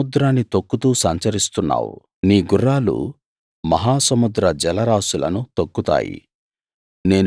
నీవు సముద్రాన్ని తొక్కుతూ సంచరిస్తున్నావు నీ గుర్రాలు మహాసముద్ర జలరాసులను తొక్కుతాయి